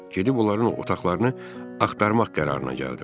Gedib onların otaqlarını axtarmaq qərarına gəldim.